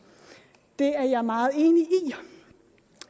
det er jeg meget enig i